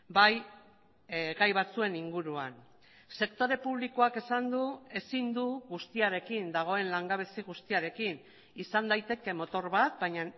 bai gai batzuen inguruan sektore publikoak esan du ezin du guztiarekin dagoen langabezi guztiarekin izan daiteke motor bat baina